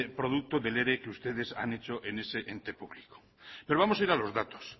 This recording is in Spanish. producto del ere que ustedes han hecho en ese ente público pero vamos a ir a los datos